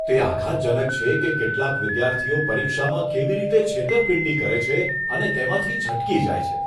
તે આઘાતજનક છે કે કેટલાક વિદ્યાર્થીઓ પરીક્ષામાં કેવી રીતે છેતરપિંડી કરે છે અને તેમાંથી છટકી જાય છે.